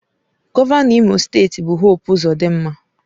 Gọvanọ Imo steeti bụ Hope Uzodinma.